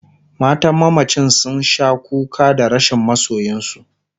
matan mamacin sun Sha kuka Dan rashin masoyinsu